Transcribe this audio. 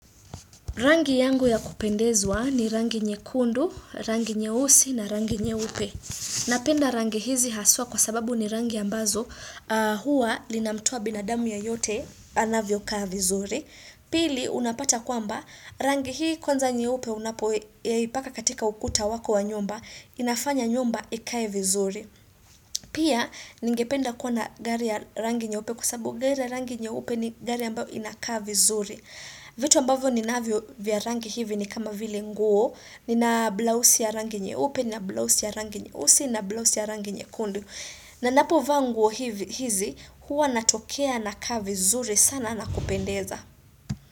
Rangi yangu ya kupendezwa ni rangi nyekundu, rangi nyeusi na rangi nyeupe. Napenda rangi hizi haswa kwa sababu ni rangi ambazo huwa linamtoa binadamu yeyote anavyokaa vizuri. Pili unapata kwamba rangi hii kwanza nyeupe unapoipaka katika ukuta wako wa nyumba, inafanya nyumba ikae vizuri. Pia ningependa kuwa na gari ya rangi nyeupe kwa sababu gari ya rangi nyeupe ni gari ambayo inakaa vizuri. Vitu ambavyo ninavyo vya rangi hivi ni kama vile nguo. Nina blausi ya rangi nyeupe na blausi ya rangi nyeusi na blausi ya rangi nyekundu na ninapovaa nguo hizi, huwa natokea nakaa vizuri sana na kupendeza.